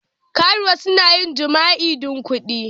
Karuwa suna yin jima'i don kuɗi.